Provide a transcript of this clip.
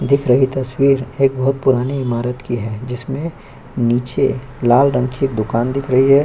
दिख रही तस्वीर एक बहुत पुराने इमारत की है जिसमे नीचे लाल रंग की एक दुकान दिख रही है।